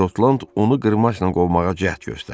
Şotland onu qırmaşla qovmağa cəhd göstərdi.